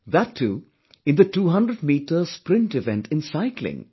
That too in the 200meter Sprint event in Cycling